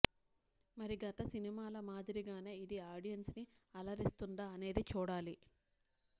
మరి గత సినిమాల మాదిరిగానే ఇది ఆడియెన్స్ ని అలరిస్తుందా అనేది చూడాలి